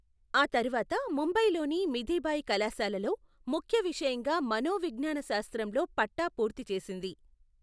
ఆ తర్వాత ముంబైలోని మిథిబాయి కళాశాలలో ముఖ్య విషయంగా మనోవిజ్ఙాన శాస్త్రంలో పట్టా పూర్తి చేసింది.